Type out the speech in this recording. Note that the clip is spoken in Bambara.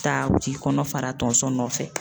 Ta u t'i kɔnɔ fara tonso nɔfɛ.